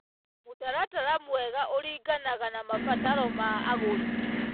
Mũtaratara mwega ũringanaga na mabataro ma agũri.